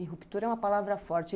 E ruptura é uma palavra forte.